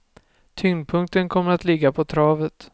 Tyngdpunkten kommer att ligga på travet.